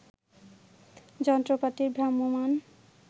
যন্ত্রপাতির ভ্রাম্যমাণ